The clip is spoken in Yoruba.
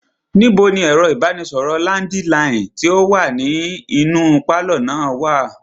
Níbo ni ẹ̀rọ ìbánisọ̀rọ̀ landiline tí o wá nínú pálọ̀ wa?